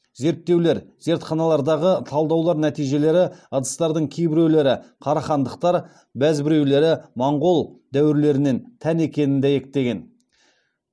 зерттеулер зертханалардағы талдаулар нәтижелері ыдыстардың кейбіреулері қарахандықтар бәзбіреулері моңғол дәуірлерінен тән екенін дәйектеген